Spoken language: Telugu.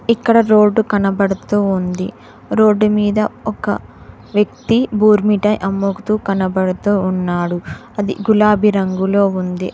ఇక్కడ రోడ్డు కనబడుతూ ఉంది రోడ్డు మీద ఒక వ్యక్తి బోర్ మిఠాయ్ అమ్ముతూ కనబడుతూ ఉన్నాడు అది గులాబి రంగులో ఉంది.